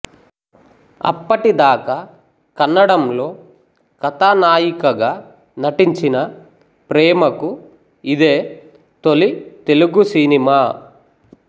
అప్పటి దాకా కన్నడంలో కథానాయికగా నటించిన ప్రేమకు ఇదే తొలి తెలుగు సినిమా